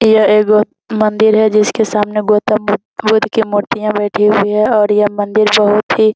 यह एगो मंदिर है जिसके सामने गौतम बु बुद्ध के मूर्तियाँ बैठी हुई हैं और यह मंदिर बहुत ही --